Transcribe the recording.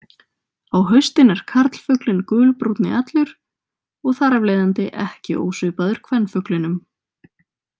Á haustin er karlfuglinn gulbrúnni allur, og þar af leiðandi ekki ósvipaður kvenfuglinum.